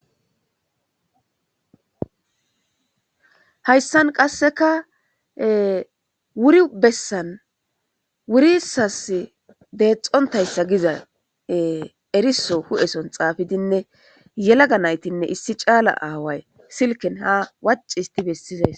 Hayssan qasseka wuri bessan wurisas deexxontayssa giza eriso hu'eson xaafidinne yelaga naytinne issi caala aaway silken ha wacci histi bessizays.